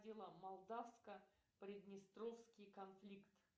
молдавско приднестровский конфликт